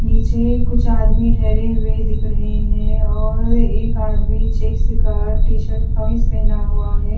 नीचे कुछ आदमी ठहरे हुए दिख रहे हैं और एक आदमी चेक्स का टीशर्ट खविज पहना हुआ है --